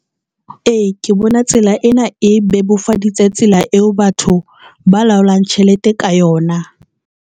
E, ke bona tsela ena e bebofaditse tsela eo batho ba laolang tjhelete ka yona.